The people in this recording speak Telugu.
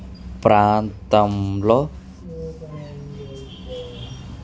ప్రాంతంలో.